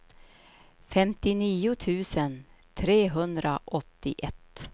femtionio tusen trehundraåttioett